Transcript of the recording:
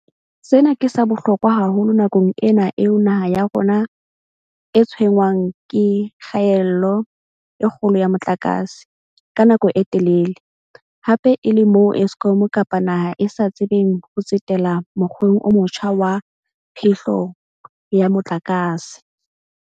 Sena ke sa bohlokwa haholo nakong ena eo naha ya rona e tshwenngwang ke kgaello e kgolo ya motlakase, ka nako e telele, hape e le moo Eskom kapa naha e sa tsebeng ho tsetela mokgweng o motjha wa phehlo ya motlakase.